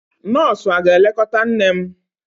Nọọsụ aga-elekọta nne m?